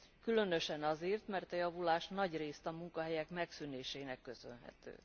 Különösen azért, mert a javulás nagyrészt a munkahelyek megszűnésének köszönhető.